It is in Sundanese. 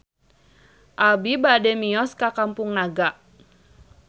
Abi bade mios ka Kampung Naga